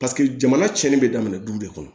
Paseke jamana cɛnni bɛ daminɛ du de kɔnɔ